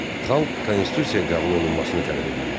Xalq konstitusiya qəbul olunmasını tələb edirdi.